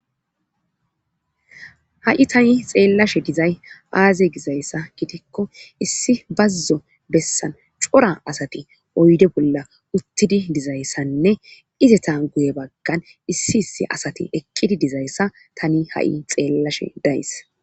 ha7i tani xeellashe dizay aaze gizayssa gitikko issi bazzo bessan cora asati oyde bolla uttidi dizayssanne izeta guye baggan issi issi asati eqqidi dizayssa tani ha7i xeellashe days